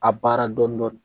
A baara dɔɔnin dɔɔnin.